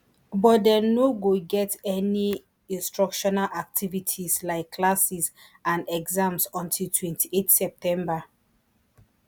but dem no go get any instructional activities like classes and exams until twenty-eight september